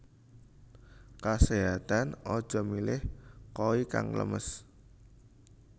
Keséhatan aja milih koi kang lemes